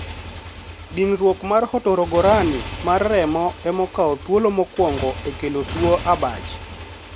Dinruok mar hotogoroni mar remo ema okawo thuolo mokuongo e kelo tuo abach.